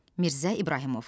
Mirzə İbrahimov.